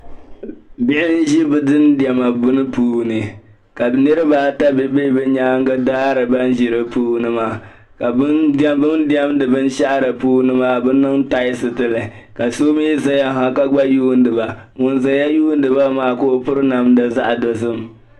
Bihi n-ʒi bɛ dindiɛma bini puuni ka niriba ata be bɛ nyaaŋa daari ban ʒi di puuni maa ka bɛ ni diɛmdi binshɛɣu puuni maa bɛ niŋ taalisi ɡili li ka so mi zaya ha ka ɡba yuuni ba ŋun zaya yuuni ba maa ka o piri namda zaɣ' dɔzim